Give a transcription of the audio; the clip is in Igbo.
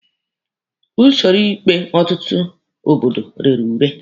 Usoro ikpe ọtụtụ obodo rere ure.